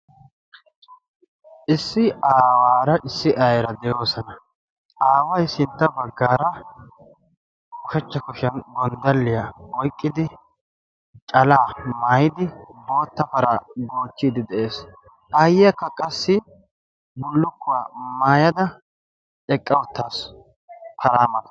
issi aawaara issi aira de'oosana. aaway sintta baggaara oshachcha koshiyan gonddalliyaa oyqqidi calaa maayidi bootta para goochchiidi de'ees. aayyiyaakka qassi bullukkuwaa maayada eqqa uttaassu paraa maatan